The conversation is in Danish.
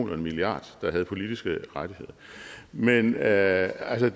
en milliard der havde politiske rettigheder men det er altså